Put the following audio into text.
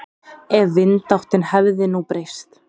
Ef vindáttin hefði nú breyst.